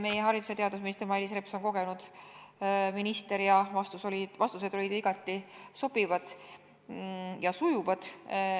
Meie haridus- ja teadusminister Mailis Reps on kogenud minister ja vastused olid igati sobivad ja sujuvad.